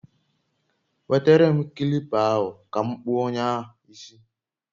Nwetere m kilipa ahụ ka m kpụọ onye a isi